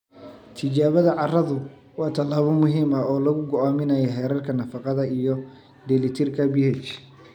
Tijaabada carradu waa tallaabo muhiim ah oo lagu go'aaminayo heerarka nafaqada iyo dheelitirka pH.